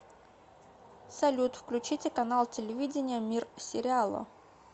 салют включите канал телевидения мир сериала